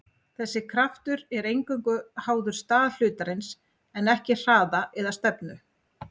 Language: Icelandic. þessi kraftur er eingöngu háður stað hlutarins en ekki hraða eða stefnu